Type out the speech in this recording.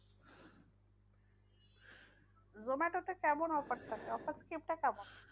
zomato তে কেমন offer থাকে? offer skim টা কেমন?